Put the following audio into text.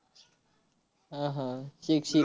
हा, हा. शिक, शिक.